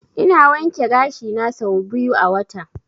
Ina wanke gashi na sau biyu a wata.